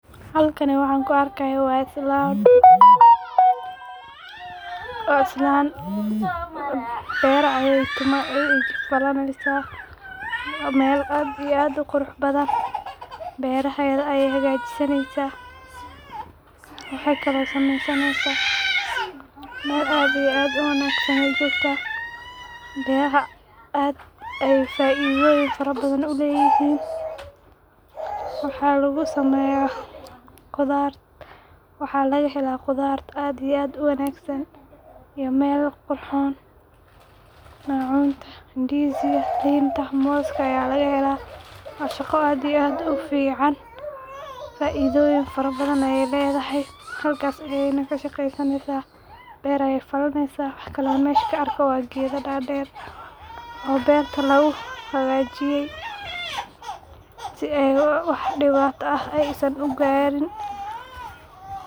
Halkani waxan ku argayoh waa islan, waa islan bara aya bara ayay falanaysah mal aad iyo aad u quruxbdan barahada ayay xagajisanaysah, waxay kle oo sama sanaysah, mal aad iyo aad wu wagsan ay jogtah, baraha ad ayay faidoyin farabadan ulayihin, waxa lagu samayah, qudarta wax laga hala qudarta aad iyo aad u wagsan iyo mal quxuxon, cudarta indiska linta moska aya laga hala wa shaqo aad iyo aad u fican faidoyih farabadan ayay ladahay, halkas ayay ka shaqasanysah bar aya falanaysah , waxkle masha ka argo wa gado dar dar oo barta lagu xagajiyay, sii ay wax diwata ah saan ugarin.